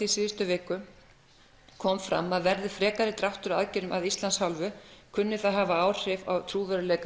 í síðustu viku kom fram að verði frekari dráttur á aðgerðum að Íslands hálfu kunni það að hafa áhrif á trúverðugleika